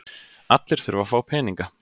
Allir þurfa að fá peninga.